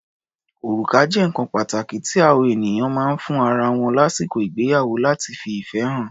Orùká jẹ́ nǹkan pàtàkí tí àọ ènìyàn máa ń fún ara wọn lásìkò ìgbéyàwó láti fi ìfẹ́ hàn.